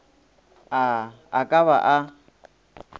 a a ka ba a